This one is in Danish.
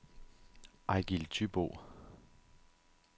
Ejgil Thybo